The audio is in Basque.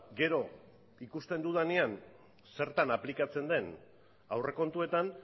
gero ikusten dudanean zertan aplikatzen den aurrekontuetan